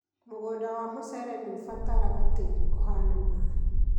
Mũgũnda wa mũcere nĩũbataraga tĩri ũhana maĩ